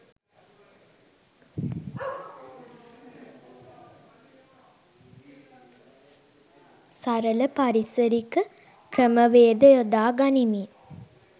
සරල පරිසරික ක්‍රම වේද යොදා ගනිමින්